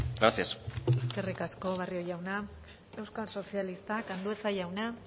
gracias eskerrik asko barrio jauna euskal sozialistak andueza jauna